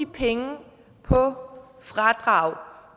penge på fradrag